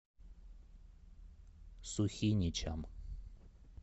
сухиничам